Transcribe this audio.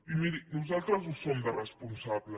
i miri nosaltres en som de responsables